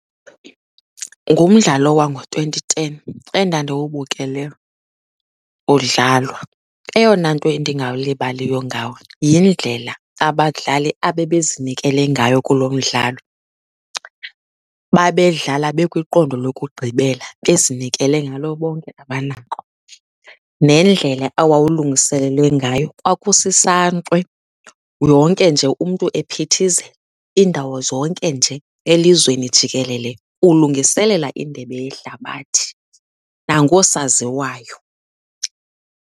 Ngumdlalo wango-twenty ten endandiwubukele udlalwa. Eyona nto endingayilibaliyo ngawo yindlela abadlali abebezinikele ngayo kulo mdlalo, babedlala bekwiqondo lokugqibela bezinikele ngalo bonke abanako. Nendlela awawulungiselelwe ngayo, kwakusisankxwe Yonke nje umntu ephithizela iindawo zonke nje elizweni jikelele ulungiselela indebe yehlabathi nangoosaziwayo.